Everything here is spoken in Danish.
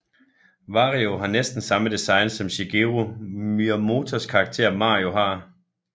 Wario har næsten samme design som Shigeru Miyamotos karakter Mario har